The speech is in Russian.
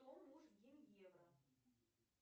кто муж гиньевра